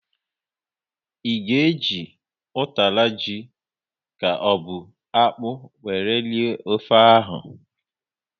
Ị ga e ji utara ji ka ọ bụ akpụ wéré rie ofe ahụ?